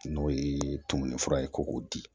N'o ye tumuni fura ye ko k'o di